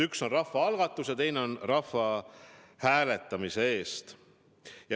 Üks on rahvaalgatus ja teine on rahvahääletus.